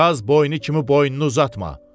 Qaz boynu kimi boynunu uzatma!